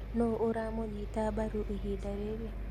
Nũũ uramũnyita mbaru ihinda rĩrĩ?